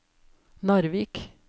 Narvik